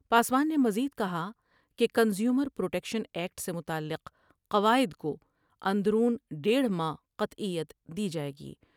پاسوان نے مزید کہا کہ کنزیومر پر ٹیکشن ایکٹ سے متعلق قواعد کواندرون دیڑھ ماہ قطعیت دی جاۓ گی ۔